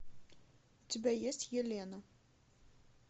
у тебя есть елена